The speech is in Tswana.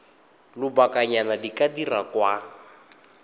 lobakanyana di ka dirwa kwa